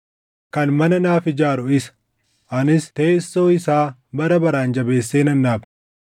Kan mana naaf ijaaru isa; anis teessoo isaa bara baraan jabeessee nan dhaaba.